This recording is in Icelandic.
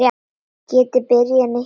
Geti byrjað nýtt líf.